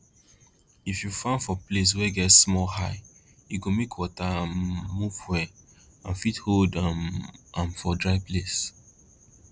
if you farm for place wey get small high e go make water um move well and fit hold um am for dry place